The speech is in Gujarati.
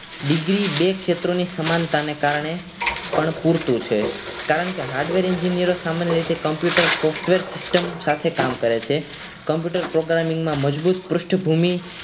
degree બે ક્ષેત્રોની સમાનતાને કારણે પણ પૂરતું છે કારણ કે hardware engineering સામાન હોય છે તે Computer software system સાથે કામ કરે છે computer engineering માં મજબૂત પૃષ્ઠભૂમિ